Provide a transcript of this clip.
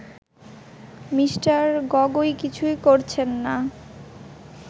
Me. Gogoi কিছুই করছেন না